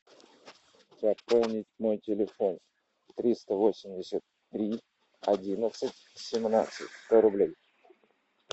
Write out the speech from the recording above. пополнить мой телефон триста восемьдесят три одиннадцать семнадцать сто рублей